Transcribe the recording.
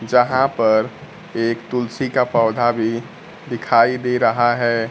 यहां पर एक तुलसी का पौधा भी दिखाई दे रहा है।